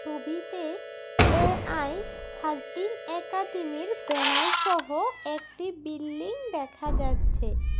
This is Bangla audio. ছবিতে এ_আই থার্টিন একাডেমীর ব্যানার সহ একটি বিল্ডিং দেখা যাচ্ছে।